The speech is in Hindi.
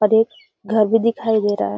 और एक घर भी दिखाई दे रहा --.